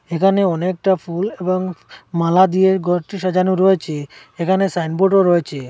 এখানে অনেকটা ফুল এবং মালা দিয়ে গরটি সাজানো রয়েচে এখানে সাইনবোর্ডও রয়েচে।